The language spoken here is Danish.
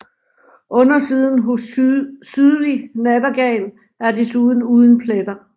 Undersiden hos sydlig nattergal er desuden uden pletter